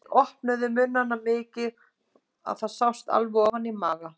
Þeir opnuðu munnana svo mikið að það sást alveg ofan í maga.